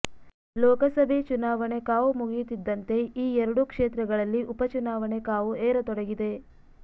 ಲೋಕಸಭೆ ಚುನಾವಣೆ ಕಾವು ಮುಗಿಯುತ್ತಿದ್ದಂತೆ ಈ ಎರಡೂ ಕ್ಷೇತ್ರಗಳಲ್ಲಿ ಉಪಚುನಾವಣೆ ಕಾವು ಏರತೊಡಗಿದೆ